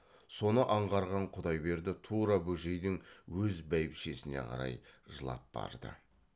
соны аңғарған құдайберді тура бөжейдің өз бәйбішесіне қарай жылап барды